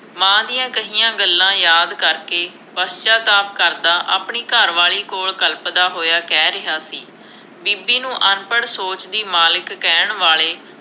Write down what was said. ਮਾਂ ਦੀਆਂ ਕਹੀਆਂ ਗੱਲਾਂ ਯਾਦ ਕਰਕੇ, ਪਛਚਾਤਾਪ ਕਰਦਾ ਆਪਣੀ ਘਰ ਵਾਲੀ ਕੋਲ ਕਲਪਦਾ ਹੋਇਆ ਕਹਿ ਰਿਹਾ ਸੀ, ਬੀਬੀ ਨੂੰ ਅਨਪੜ੍ਹ ਸੋਚ ਦੀ ਮਾਲਿਕ ਕਹਿਣ ਵਾਲੇ,